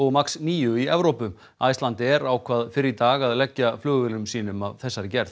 max níu í Evrópu Icelandair ákvað fyrr í dag að leggja flugvélum sínum af þessari gerð